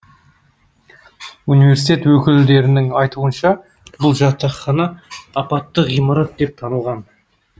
университет өкілдерінің айтуынша бұл жатақхана апатты ғимарат деп танылған